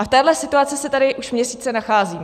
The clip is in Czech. A v téhle situaci se tady už měsíce nacházíme.